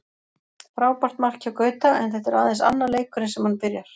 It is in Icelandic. Frábært mark hjá Gauta, en þetta er aðeins annar leikurinn sem hann byrjar.